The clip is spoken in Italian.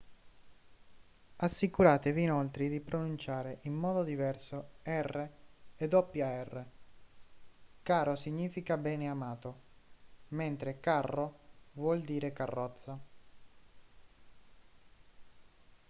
assicuratevi inoltre di pronunciare in modo diverso r e rr caro significa beneamato mentre carro vuol dire carrozza